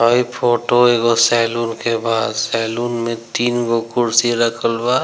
हई फोटो एगो सैलून के बा सैलून में तीन गो कुर्सी रखल बा।